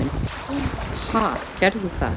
Ha, gerðu það.